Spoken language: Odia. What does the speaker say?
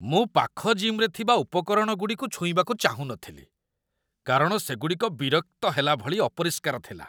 ମୁଁ ପାଖ ଜିମ୍‌ରେ ଥିବା ଉପକରଣଗୁଡ଼ିକୁ ଛୁଇଁବାକୁ ଚାହୁଁ ନଥିଲି କାରଣ ସେଗୁଡ଼ିକ ବିରକ୍ତ ହେଲା ଭଳି ଅପରିଷ୍କାର ଥିଲା।